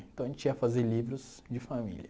Então a gente ia fazer livros de família.